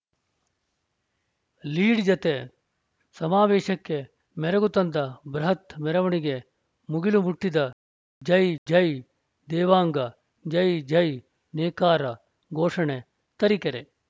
lead ಜತೆ ಸಮಾವೇಶಕ್ಕೆ ಮೆರಗು ತಂದ ಬೃಹತ್‌ ಮೆರವಣೆಗೆ ಮುಗಿಲು ಮುಟ್ಚಿದ ಜೈ ಜೈ ದೇವಾಂಗ ಜೈ ಜೈ ನೇಕಾರ ಘೋಷಣೆ ತರೀಕೆರೆ